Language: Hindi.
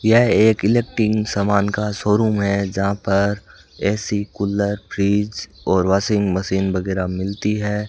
यह एक इलेक्ट्रिक सामान का शोरूम है जहां पर ए_सी कूलर फ्रिज और वाशिंग मशीन वगैरा मिलती है।